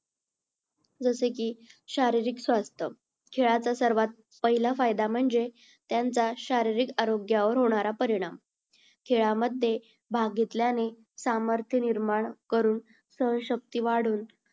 जसे की शारीरिक स्वास्थ्य. खेळाचा सर्वात पहिला फायदा म्हणजे त्यांचा शारीरिक आरोग्यावर होणारा परिणाम. खेळामध्ये भाग घेतल्याने सामर्थ्य निर्माण करून सहनशक्ती वाढुन